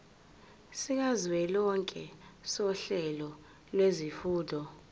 sikazwelonke sohlelo lwezifundo